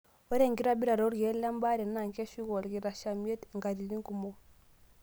Ore enkitobirata olkeek le baare naa keshuku olkishamiet nkatitin kumok.